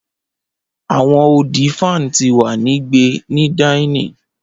Awọn odi fan ti wa ni gbe ni dinning